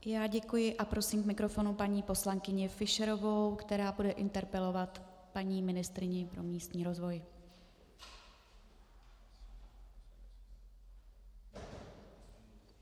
Já děkuji a prosím k mikrofonu paní poslankyni Fischerovou, která bude interpelovat paní ministryni pro místní rozvoj.